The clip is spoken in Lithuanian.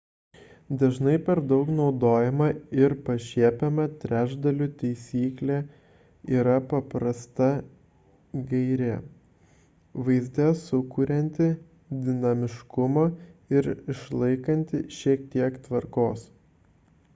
dažnai per daug naudojama ir pašiepiama trečdalių taisyklė yra paprasta gairė vaizde sukurianti dinamiškumo ir išlaikanti šiek tiek tvarkos